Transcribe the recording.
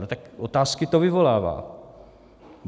No tak otázky to vyvolává.